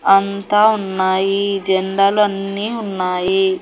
అంతా ఉన్నాయి జెండాలు అన్నీ ఉన్నాయి.